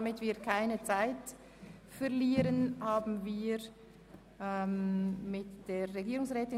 Damit sind wir am Ende der Themen der FIN angelangt.